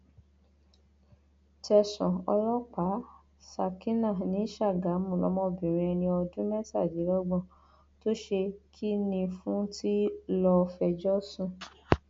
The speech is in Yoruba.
tẹsàn ọlọpàá ṣákínà ní sàgámù lọmọbìnrin ẹni ọdún mẹtàdínlọgbọn tó ṣe kinní fún tí lọọ fẹjọ sùn